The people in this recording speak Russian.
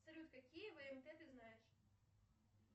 салют какие вмт ты знаешь